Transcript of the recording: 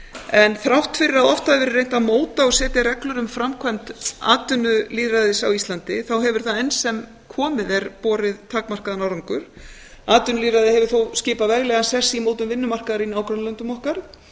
en þrátt fyrir að oft hafi verið reynt að móta og setja reglur um framkvæmd atvinnulýðræðis á íslandi hefur það enn sem komið er borið takmarkaðan árangur atvinnulýðræði hefur þó skipað veglegan sess í mótun vinnumarkaðar í nágrannalöndum okkar